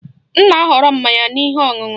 M na-ahọrọ mmanya na ihe ọṅụṅụ